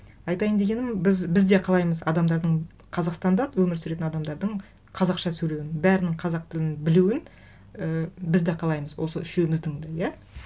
айтайын дегенім біз де қалаймыз адамдардың қазақстанда өмір сүретін адамдардың қазақша сөйлеуін бәрінің қазақ тілін білуін і біз де қалаймыз осы үшеуіміздің де иә